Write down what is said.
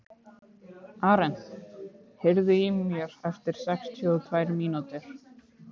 Arent, heyrðu í mér eftir sextíu og tvær mínútur.